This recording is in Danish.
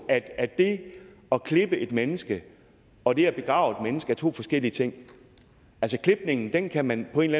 at det at klippe et mennesket og det at begrave et menneske er to forskellige ting klipningen kan man på en